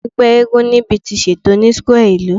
Awọn ẹgbẹ Masquerade nibiti ṣeto ni square ilu